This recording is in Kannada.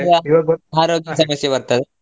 ಸಮಸ್ಯೆ ಬರ್ತದೆ.